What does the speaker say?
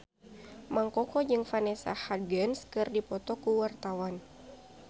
Mang Koko jeung Vanessa Hudgens keur dipoto ku wartawan